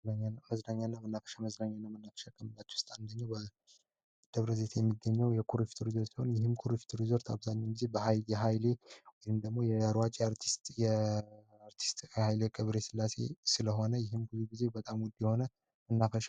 መዝናኛ እና መናፈሻ መዝናኛ እና መናፈሻ ከምንላቸው ውስጥ አንደኛው ደብረ ዘይት የሚገኘው የኩርፍቱ ሪዞርት ነው ይህም የኩሪፍቱ ሪዞርት አብዛኛውን ጊዜ የሀይሌ ወይም ደግሞ የሯጭ አርቲስት ሃይለ ገብረ ስላሴ ስለሆነ ይህም በጣም ውድ የሆነ መናፈሻ ነው።